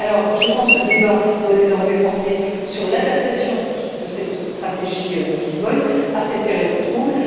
Je pense que le débat doit désormais porter sur l'adaptation de cette stratégie de Lisbonne à cette période trouble.